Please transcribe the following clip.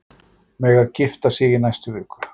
Mega gifta sig í næstu viku